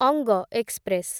ଅଙ୍ଗ ଏକ୍ସପ୍ରେସ